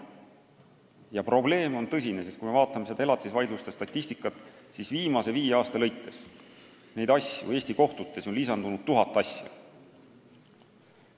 Ja probleem on tõsine: kui ma vaatan elatisvaidluste statistikat, siis näen, et viimase viie aasta jooksul on neid asju Eesti kohtutes lisandunud tuhatkond.